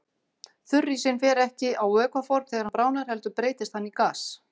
Þurrísinn fer ekki á vökvaform þegar hann bráðnar heldur breytist hann í gas.